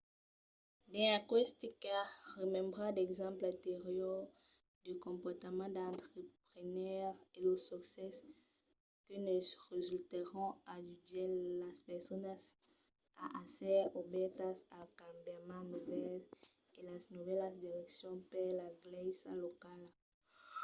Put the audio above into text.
dins aqueste cas remembrar d'exemples anteriors de comportament d'entrepreneire e los succèsses que ne resultèron ajudèt las personas a èsser obèrtas als cambiaments novèls e a las novèlas direccions per la glèisa locala